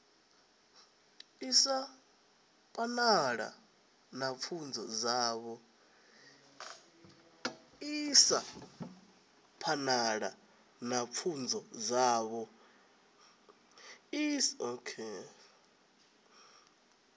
isa phanḓa na pfunzo dzavho